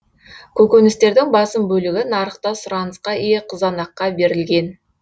көкөністердің басым бөлігі нарықта сұранысқа ие қызанаққа берілген